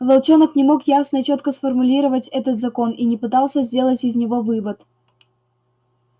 волчонок не мог ясно и чётко сформулировать этот закон и не пытался сделать из него вывод